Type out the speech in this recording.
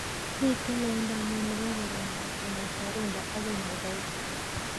Miten loindo ainon nebo kebendat kongeten runda akoi muthaiga